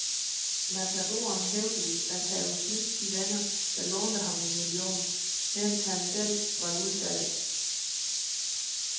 Matadoren hævdes at have snydt de venner, der lånte ham en million, mens han selv var ludfattig.